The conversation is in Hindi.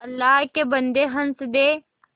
अल्लाह के बन्दे हंस दे